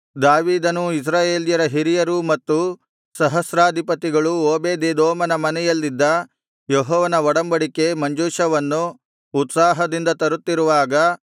ದಾವೀದನೂ ಇಸ್ರಾಯೇಲ್ಯರ ಹಿರಿಯರೂ ಮತ್ತು ಸಹಸ್ರಾಧಿಪತಿಗಳೂ ಓಬೇದೆದೋಮನ ಮನೆಯಲ್ಲಿದ್ದ ಯೆಹೋವನ ಒಡಂಬಡಿಕೆ ಮಂಜೂಷವನ್ನು ಉತ್ಸಾಹದಿಂದ ತರುತ್ತಿರುವಾಗ